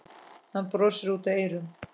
Hann brosir út að eyrum.